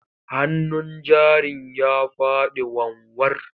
Hannun jarin ya faɗi wanwar.